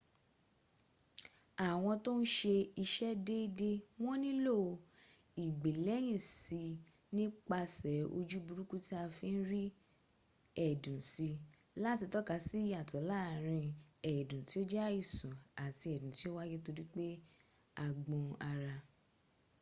àwọn tó n ṣe ìṣe dédé wọn nílò ìgbèlẹ́yìn sí nípasẹ̀ ojú burúkú tí a fi n rí ẹ̀dùn sí láti tọ́ka sí ìyàtọ̀ láàrín ẹ̀dùn ti o jẹ́ àìsàn àti ẹ̀dùn tí o wáyé torípé a gbọn ara